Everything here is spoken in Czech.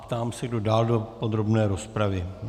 Ptám se, kdo dál do podrobné rozpravy.